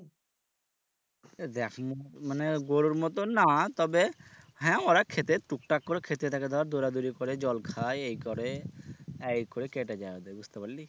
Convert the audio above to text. এ দেখ মুখ মানে গরুর মত না তবে হ্যাঁ ওরা খেতে টুকটাক করে খেতে থাকে ধর দৌড়াদৌড়ি করে জল খায় এই করে আহ এই করে কেটে যায় ওদের বুঝতে পারলি?